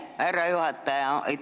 Aitäh, härra juhataja!